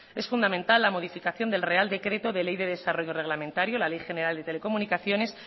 es fundamental la modificación del real decreto de ley de desarrollo reglamentario la ley general de comunicaciones